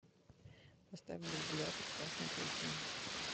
поставь бульбулятор красной плесени